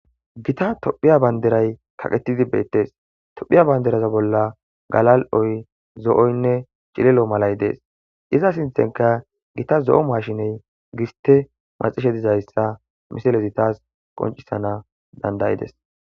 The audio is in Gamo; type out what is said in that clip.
Gita tophiya banderay kaqetidi beettes tophiya banderaza bolla galal7oy zo7oynne cilelo malay dees iza sinthenka gita zo7o mashiney giste maxishe dizayssa misalezi taas qoncisana dandayides.